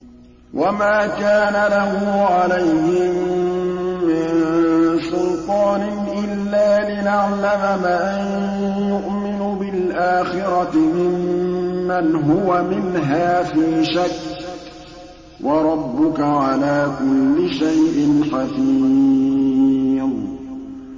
وَمَا كَانَ لَهُ عَلَيْهِم مِّن سُلْطَانٍ إِلَّا لِنَعْلَمَ مَن يُؤْمِنُ بِالْآخِرَةِ مِمَّنْ هُوَ مِنْهَا فِي شَكٍّ ۗ وَرَبُّكَ عَلَىٰ كُلِّ شَيْءٍ حَفِيظٌ